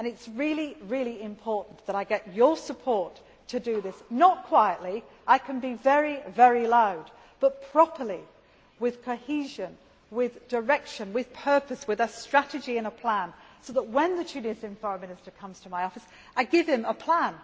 It is really important that I get your support to do this not quietly, I can be very loud but properly with cohesion, with direction, with purpose, with a strategy and a plan so that, when the Tunisian Foreign Minister comes to my office, I give him a